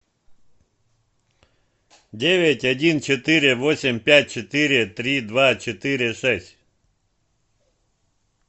девять один четыре восемь пять четыре три два четыре шесть